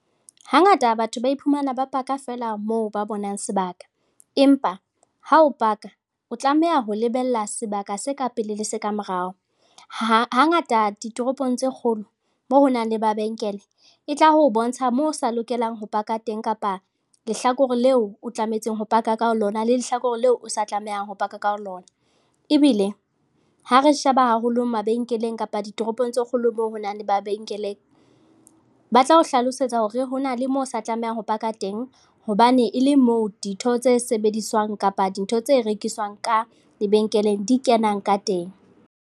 Hangata batho ba iphumana ba paka feela moo ba bonang sebaka, empa ha o paka o tlameha ho lebella sebaka se ka pele le se ka morao. Ha hangata ditoropong tse kgolo moo ho nang le mabenkele e tla ho bontsha moo o sa lokelang ho paka teng kapa lehlakore leo o tlamehang ho paka ka ho lona le lehlakore leo o sa tlamehang ho paka ka ho lona, ebile ha re sheba haholo mabenkeleng kapa ditoropong tse kgolo moo ho nang le mabenkeleng, ba tla o hlalosetsa hore hona le moo sa tlamehang ho paka teng hobane e le moo ditho tse sebediswang kapa dintho tse rekiswang ka lebenkeleng di kenang ka teng.